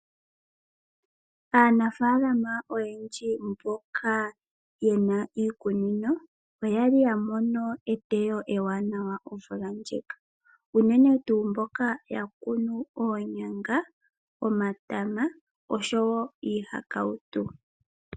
Aanafaalama oyendji mboka yena iikunino . Oyali ya mono eteyo ewanawa omvula ndjika. Unene tuu mboka ya kunu oonyanga, omatama osho woo iihakautu.